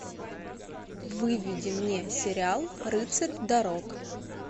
выведи мне сериал рыцарь дорог